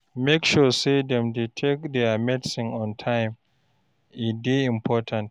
Make sure sey dem dey take their medicine on time, e dey important.